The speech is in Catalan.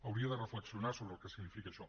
hauria de reflexionar sobre el que significa això